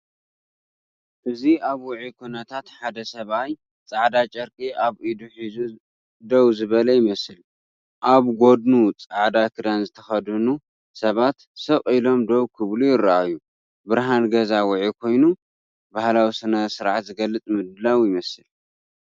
እዚ ኣብ ውዑይ ኩነታት ሓደ ሰብኣይ ጻዕዳ ጨርቂ ኣብ ኢዱ ሒዙ ደው ዝበለ ይመስል። ኣብ ጎድኑ ጻዕዳ ክዳን ዝተኸድኑ ሰባት ስቕ ኢሎም ደው ክብሉ ይረኣዩ። ብርሃን ገዛ ውዑይ ኮይኑ፡ ባህላዊ ስነ-ስርዓት ዝገልጽ ምድላው ይመስል።